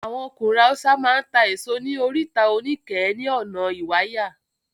Àwọn ọkùnrin Haúsá máa ń ta èso ní Oríta Oníkẹ̀ẹ́ ní ọ̀nà Ìwàyà.